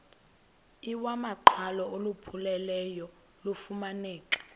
iwamaqhalo olupheleleyo lufumaneka